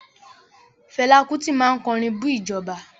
Fẹlá Kútì máa kọrin bú ìjọba.